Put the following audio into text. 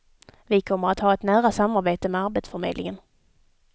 Vi kommer att ha ett nära samarbete med arbetsförmedlingen.